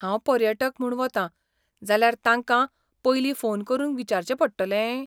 हांव पर्यटक म्हूण वतां जाल्यार तांकां पयलीं फोन करून विचारचें पडटलें?